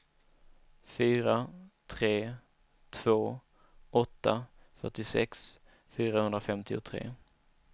fyra tre två åtta fyrtiosex fyrahundrafemtiotre